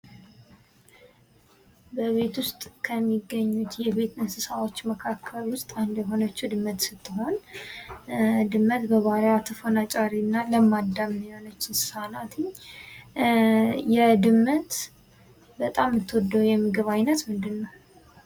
በቤት ውስጥ ከሚገኙት የቤት እንስሳዎች መካከል ውስጥ አንዷ የሆነችው ድመት ስትሆን ድመት በባህሪዋ ተፎናጫሪ እና ለማዳም የሆነች እንስሳ ናትኝ። የድመት በጣም የምትወደው የምግብ ዓይነት ምንድን ነው?